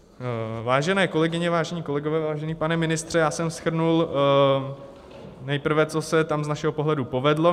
Vážené kolegyně, vážení kolegové, vážený pane ministře, já jsem shrnul nejprve, co se tam z našeho pohledu povedlo.